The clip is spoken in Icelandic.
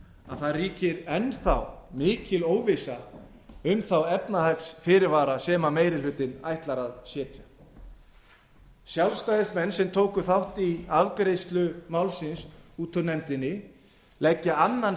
að það ríkir enn þá mikil óvissa um þá efnahagsfyrirvara sem meiri hlutinn ætlar að setja sjálfstæðismenn sem tóku þátt í afgreiðslu málsins út úr nefndinni leggja annan